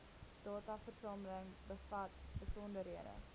dataversameling bevat besonderhede